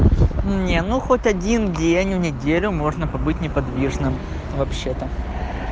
не ну хоть один день в неделю можно побыть неподвижным вообще-то